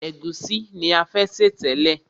Ègúsí ni a fẹ́ sè tẹ́lẹ̀.